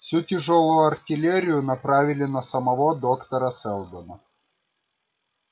всю тяжёлую артиллерию направили на самого доктора сэлдона